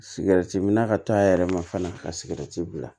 Sigɛrɛti mi na ka taa a yɛrɛ ma fana ka sigɛrɛti bila